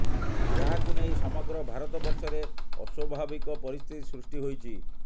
ଯାହାକୁ ନେଇ ସମଗ୍ର ଭାରତବର୍ଷରେ ଅସ୍ୱଭାବିକ ପରିସ୍ଥିତି ସୃଷ୍ଟି ହୋଇଛି